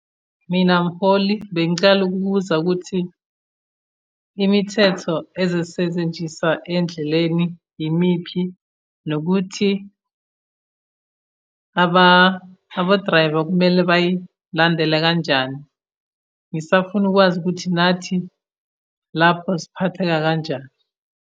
Mina mholi bengicela ukubuza ukuthi, imithetho ezosetshenziswa endleleni yimiphi? Nokuthi abo-driver kumele bayilandele kanjani? Ngisafuna ukwazi ukuthi nathi lapho siphatheka kanjani?